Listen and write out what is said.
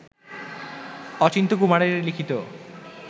অচিন্ত্যকুমারের লিখিত